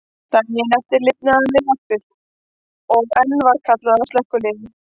Daginn eftir lifnaði hann við aftur, og enn var kallað á slökkvilið.